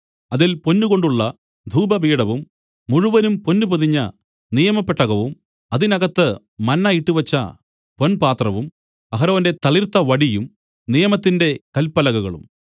അതിൽ പൊന്നുകൊണ്ടുള്ള ധൂപപീഠവും മുഴുവനും പൊന്നു പൊതിഞ്ഞ നിയമപെട്ടകവും അതിനകത്ത് മന്ന ഇട്ട് വെച്ച പൊൻപാത്രവും അഹരോന്റെ തളിർത്തവടിയും നിയമത്തിന്റെ കല്പലകകളും